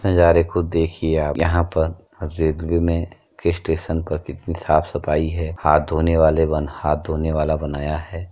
नज़ारे खुद देखिए आप। यहाँ पर स्टेशन पर कितनी साफ़ सफाई है। हाथ धोने वाले वन हाथ धोने वाला बनाया है।